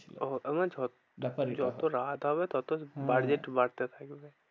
ওহ তারমানে যত রাত হবে তত হম হম budget বাড়তে থাকবে।